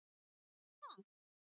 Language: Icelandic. Má það?